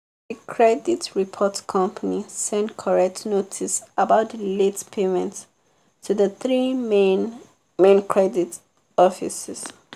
the credit report company send correct notice about the late payment to the three main main credit offices.